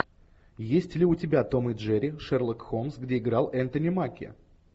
есть ли у тебя том и джерри шерлок холмс где играл энтони маки